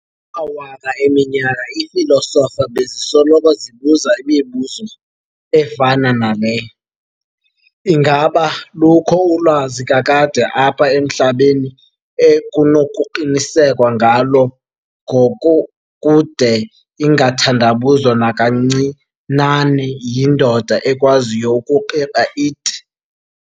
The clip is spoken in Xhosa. Amawaka eminyaka iifilosofa bezisoloko zibuza imibuzo, efana nale- "Ingaba lukho ulwazi kakade apha emhlabeni ekunokuqinisekwa ngalo ngokokude ingathandabuzwa nakancinane yindoda ekwaziyo ukuqiqa it?".